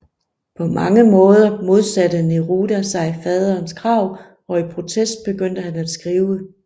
På mange måder modsatte Neruda sig faderens krav og i protest begyndte han at skrive